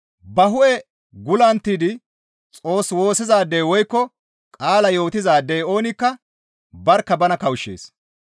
Ba hu7e gullunttidi Xoos woossizaadey woykko qaala yootizaadey oonikka barkka bana kawushshees.